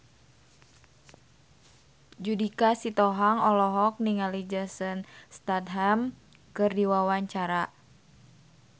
Judika Sitohang olohok ningali Jason Statham keur diwawancara